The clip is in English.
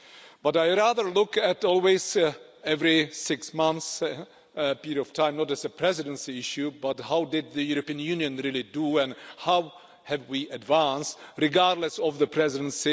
But I rather look at always every six months period of time, not as a Presidency issue but how did the European Union really do, and how have we advanced, regardless of the Presidency?